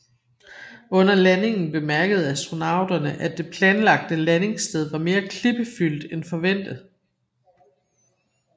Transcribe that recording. Under landingen bemærkede astronauterne at det planlagte landingssted var mere klippefyldt end forventet